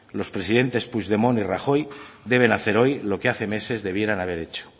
los presidentes puigdemont y rajoy deben hacer hoy lo que hace meses debieran haber hecho